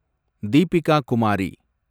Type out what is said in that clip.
Deepika Kumari